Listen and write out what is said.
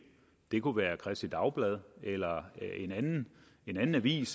det kunne være kristeligt dagblad eller en anden avis